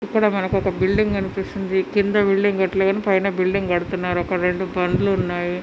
ఇక్కడ మనకి ఒక బిల్డింగ్ కనిపిస్తుంది కింద బిల్డింగ్ కటాలే పైన బిల్డింగ్ కడ్తున్నారు ఒక రెండు బండ్లు ఉన్నా--